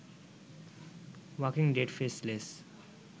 walking dead, faceless